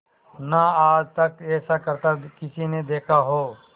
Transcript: ना आज तक ऐसा करतब किसी ने देखा हो